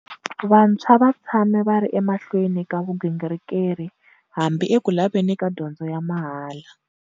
Vantshwa va tshame va ri emahlweni ka vugingirikeli, hambi eku laveni ka dyondzo ya mahala.